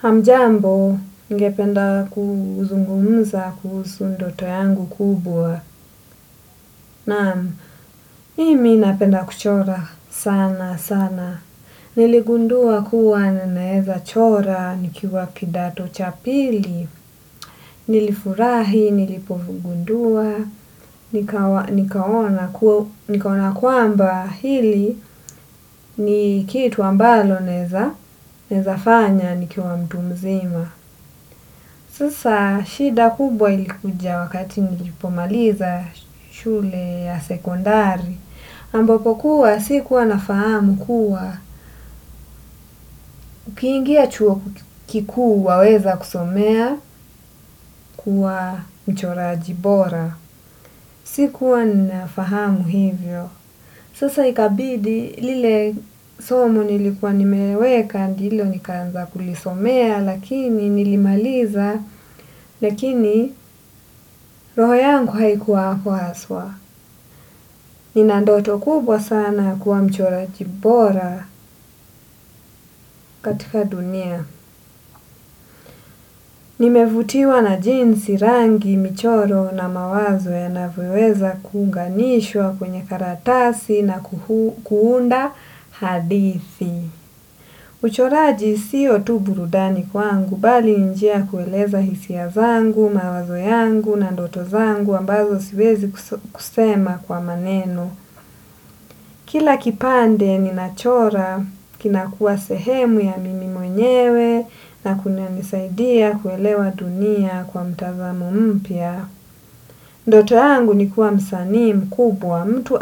Hamjambo, ningependa kuzungumza kuhusu ndoto yangu kubwa. Naam, mimi napenda kuchora sana sana. Niligundua kuwa ninaweza chora nikiwa kidato cha pili. Nilifurahi, nilipogundua, nikaona kwamba hili ni kitu ambalo naweza, naweza fanya, nikiwa mtu mzima. Sasa shida kubwa ilikuja wakati nilipomaliza shule ya sekondari, ambapo kuwa sikuwa nafahamu kuwa, ukiingia chuo kikuu waweza kusomea kuwa mchoraji bora, sikuwa nafahamu hivyo. Sasa ikabidi lile somo nilikuwa nimeweka ndilo nikaanza kulisomea lakini nilimaliza lakini roho yangu haikuwa hapo haswa. Nina ndoto kubwa sana ya kuwa mchoraji bora katika dunia. Nimevutiwa na jinsi rangi michoro na mawazo yanavyoweza kuunganishwa kwenye karatasi na kuunda hadithi. Uchoraji siyo tu burudani kwangu bali njia kueleza hisia zangu, mawazo yangu na ndoto zangu ambazo siwezi kusema kwa maneno. Kila kipande ninachora kinakua sehemu ya mimi mwenyewe na kuna nisaidia kuelewa dunia kwa mtazamo mpya. Ndoto yangu ni kuwa msanii mkubwa mtu